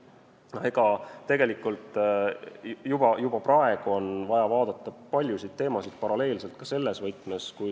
Kui siin on räägitud rongiühendusest, siis tegelikult on juba praegu vaja vaadata paljusid teemasid ka selles võtmes.